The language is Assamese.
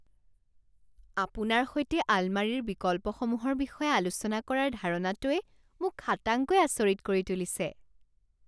আপোনাৰ সৈতে আলমাৰীৰ বিকল্পসমূহৰ বিষয়ে আলোচনা কৰাৰ ধাৰণাটোৱে মোক খাটাংকৈ আচৰিত কৰি তুলিছে।